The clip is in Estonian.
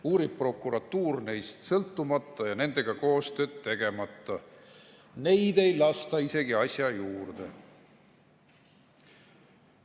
Uurib prokuratuur neist sõltumata ja nendega koostööd tegemata, neid ei lasta isegi juurde.